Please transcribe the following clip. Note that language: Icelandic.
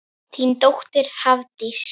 Þín dóttir, Hafdís.